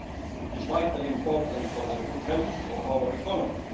It is vitally important for the good health of our economy.